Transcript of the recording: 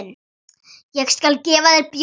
Ég skal gefa þér bjór.